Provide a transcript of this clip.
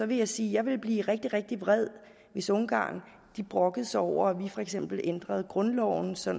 vil jeg sige at jeg ville blive rigtig rigtig vred hvis ungarn brokkede sig over vi for eksempel ændrede grundloven så